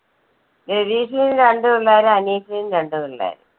രതീഷിനും രണ്ട് പിള്ളേര് അനീഷിനും രണ്ട് പിള്ളേര്.